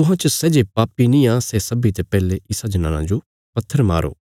तुहां च सै जे पापी निआं सै सब्बीं ते पैहले इसा जनाना जो पत्थर मारो